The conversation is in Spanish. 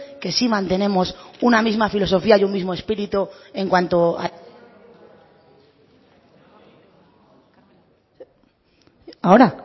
que sí mantenemos una misma filosofía y un mismo espíritu en cuanto a ahora